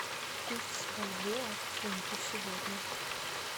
курс бальбоа к фунту сегодня